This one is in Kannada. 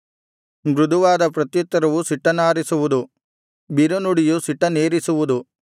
ಮೃದುವಾದ ಪ್ರತ್ಯುತ್ತರವು ಸಿಟ್ಟನ್ನಾರಿಸುವುದು ಬಿರುನುಡಿಯು ಸಿಟ್ಟನ್ನೇರಿಸುವುದು